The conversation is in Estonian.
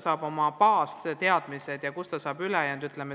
saab teaduspõhised baasteadmised muul erialal.